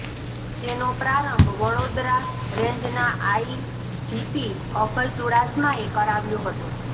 જેનો પ્રારંભ વડેાદરા રેંજના આઇજીપી અભય ચૂડાસમાએ કરાવ્યો હતો